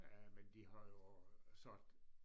Øh men de har jo sat